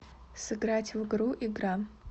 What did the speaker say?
сыграть в игру игра